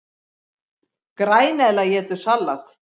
Græneðla étur salat!